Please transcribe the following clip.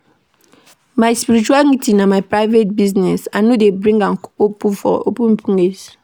My spirituality na my private business, I no dey bring am for open place.